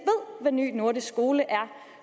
ved hvad ny nordisk skole er